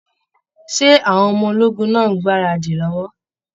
Ṣé àwọn ọmọ ológun náà n gbaradi lọwọ?